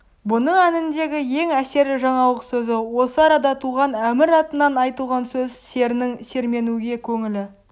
бұның әніндегі ең әсерлі жаңалық сөзі осы арада туған әмір атынан айтылған сөз серінің серменуге көңілі